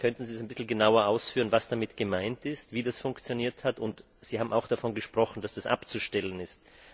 Könnten Sie ein bisschen genauer ausführen, was damit gemeint ist, wie das funktioniert hat? Sie haben auch davon gesprochen, dass das abzustellen ist.